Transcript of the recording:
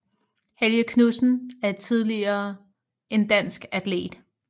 Helge Knudsen er tidligere en dansk atlet